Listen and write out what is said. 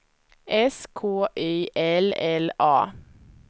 S K Y L L A